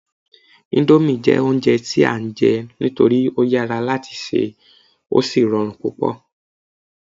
indomie jé ounjẹ ti a n je nitori o yara lati ṣe o sí rọrùn púpò